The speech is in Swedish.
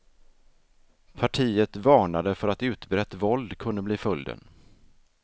Partiet varnade för att utbrett våld kunde bli följden.